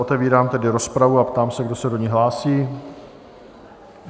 Otevírám tedy rozpravu a ptám se, kdo se do ní hlásí?